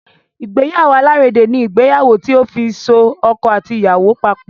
Ìgbéyàwó alárédè ní ìgbéyàwó tí òfin so ọkọ àti ìyàwó papọ̀.